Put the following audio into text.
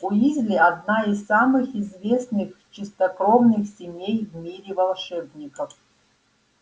уизли одна из самых известных чистокровных семей в мире волшебников